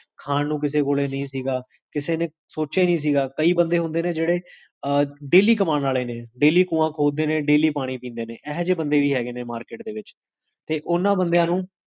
ਜ੍ਖ੍ਜ੍ਹਲ